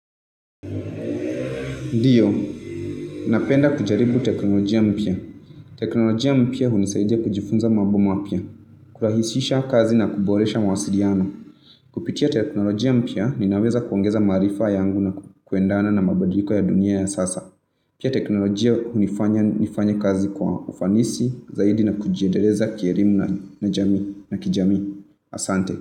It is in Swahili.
Ndiyo, napenda kujaribu teknolojia mpya. Teknolojia mpya huni saidia kujifunza mambo mapya, kurahishisha kazi na kuboresha mawasiliano. Kupitia teknolojia mpya, ninaweza kuongeza maarifa yangu na kuendana na mabadiliko ya dunia ya sasa. Pia teknolojia hu ni fanya nifanye kazi kwa ufanisi zaidi na kujiedeleza kielimu na jamii na kijamii. Asante.